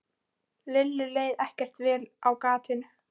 Lillu leið ekkert vel á gatinu.